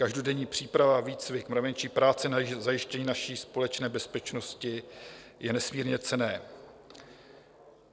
Každodenní příprava, výcvik, mravenčí práce na zajištění naší společné bezpečnosti je nesmírně cenná.